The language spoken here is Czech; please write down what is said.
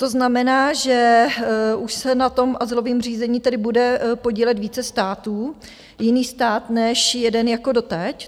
To znamená, že už se na tom azylovém řízení tedy bude podílet více států, jiný stát než jeden jako doteď?